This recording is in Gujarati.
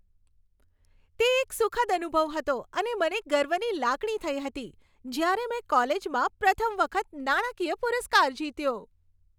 તે એક સુખદ અનુભવ હતો અને મને ગર્વની લાગણી થઈ હતી જ્યારે મેં કોલેજમાં પ્રથમ વખત નાણાકીય પુરસ્કાર જીત્યો.